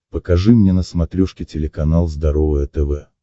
покажи мне на смотрешке телеканал здоровое тв